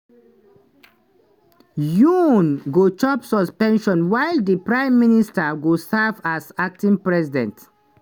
yoon go chop suspension while di prime minister go serve as acting president.